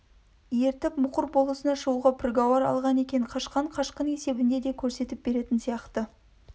ертіп мұқыр болысына шығуға піргауар алған екен қашқан қашқын есебінде де көрсетіп беретін сияқты